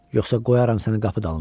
Yoxsa qoyaram səni qapı dalında.